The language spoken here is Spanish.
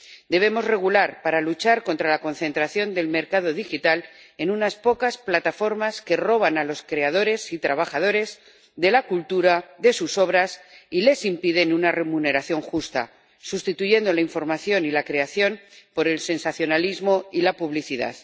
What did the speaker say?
Debemos regular para luchar contra la concentración del mercado digital en unas pocas plataformas que roban las obras a los creadores y trabajadores de la cultura y les impiden una remuneración justa, sustituyendo la información y la creación por el sensacionalismo y la publicidad.